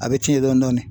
A bɛ tiɲɛ dɔɔnin dɔɔnin